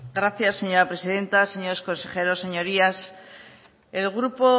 gracias señora presidenta señores consejeros señorías el grupo